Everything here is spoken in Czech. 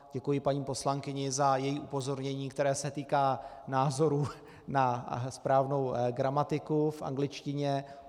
Děkuji paní poslankyni za její upozornění, které se týká názoru na správnou gramatiku v angličtině.